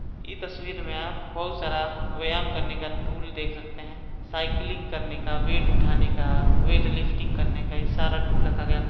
इ तस्वीर में आप बहुत सारा व्यायाम करने का टूल देख सकते है साइडिलिंग करने का वेट उठाने का वेटलिफ्टिंग करने का कई सारा टूल रखा गया है।